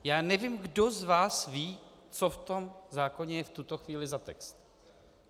Já nevím, kdo z vás ví, co v tom zákoně je v tuto chvíli za text.